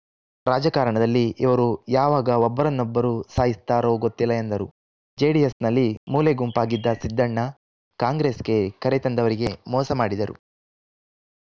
ರಾಜಕಾರಣದಲ್ಲಿ ಇವರು ಯಾವಾಗ ಒಬ್ಬರನ್ನೊಬ್ಬರು ಸಾಯ್ತಿಸ್ತಾರೋ ಗೊತ್ತಿಲ್ಲ ಎಂದರು ಜೆಡಿಎಸ್‌ನಲ್ಲಿ ಮೂಲೆಗುಂಪಾಗಿದ್ದ ಸಿದ್ದಣ್ಣ ಕಾಂಗ್ರೆಸ್‌ಗೆ ಕರೆತಂದವರಿಗೆ ಮೋಸ ಮಾಡಿದರು